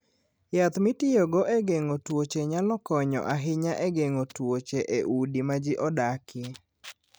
Yath mitiyogo e geng'o tuoche nyalo konyo ahinya e geng'o tuoche e udi ma ji odakie.